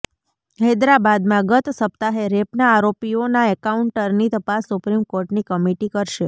હૈદરાબાદમાં ગત સપ્તાહે રેપના આરોપીઓના એન્કાઉન્ટરની તપાસ સુપ્રીમ કોર્ટની કમિટી કરશે